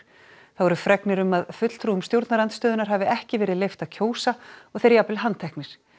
þá eru fregnir um að fulltrúum stjórnarandstöðunnar hafi ekki verið leyft að kjósa og þeir jafnvel handteknir